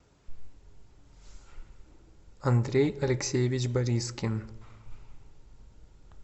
андрей алексеевич борискин